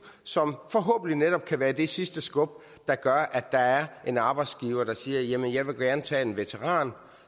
som forhåbentlig netop kan være det sidste skub der gør at der er en arbejdsgiver der siger at jamen jeg vil gerne tage en veteran